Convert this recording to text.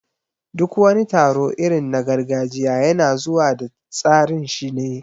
Duk wani taro irin na gargajiya yana zuwa da tsarinshi ne